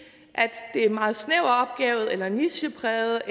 er en meget snæver eller nichepræget